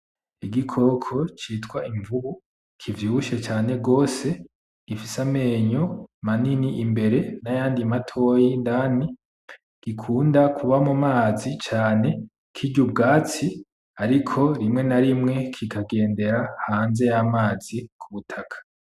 Igikoko citwa imvubu kivyibushe cane gose gifise amenyo manini imbere n'ayandi matoya indani gikunda kuba mu mazi cane kirya ubwatsi ariko rimwe na rimwe kikagendera hanze y'amazi ku ivu.